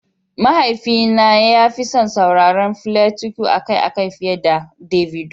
Mahaifina ya fi son sauraron Fela Kuti akai-akai fiye da Davido.